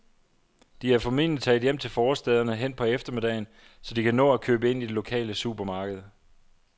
De er formentlig taget hjem til forstæderne hen på eftermiddagen, så de kan nå at købe ind i det lokale supermarked.